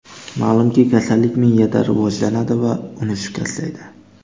Ma’lumki, kasallik miyada rivojlanadi va uni shikastlaydi.